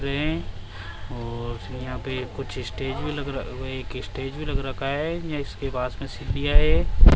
है और यहां पे कुछ स्टेज भी लग रह एक स्टेज भी लग रखा है ये इसके पास में सीढ़ियां है।